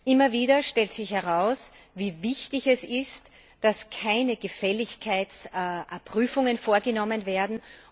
Immer wieder stellt sich heraus, wie wichtig es ist, dass keine Gefälligkeitsprüfungen vorgenommen werden.